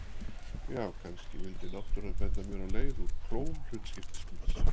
Já, kannski vildi náttúran benda mér á leið úr klóm hlutskiptis míns.